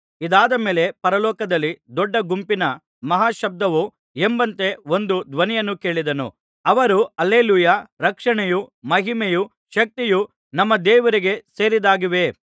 ಇದಾದ ಮೇಲೆ ಪರಲೋಕದಲ್ಲಿ ದೊಡ್ಡ ಗುಂಪಿನ ಮಹಾ ಶಬ್ದವೋ ಎಂಬಂತೆ ಒಂದು ಧ್ವನಿಯನ್ನು ಕೇಳಿದೆನು ಅವರು ಹಲ್ಲೆಲೂಯಾ ರಕ್ಷಣೆಯೂ ಮಹಿಮೆಯೂ ಶಕ್ತಿಯೂ ನಮ್ಮ ದೇವರಿಗೆ ಸೇರಿದ್ದಾಗಿವೆ